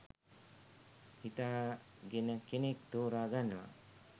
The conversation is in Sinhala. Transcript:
හිතා ගෙන කෙනෙක් ‍තෝරා ගන්නවා.